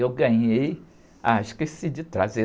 Eu ganhei... Ah, esqueci de trazer.